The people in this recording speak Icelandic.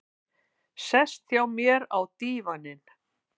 Sest hjá mér á dívaninn.